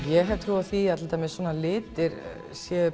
ég hef trú á því að litir séu